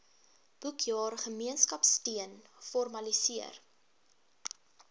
boekjaar gemeenskapsteun formaliseer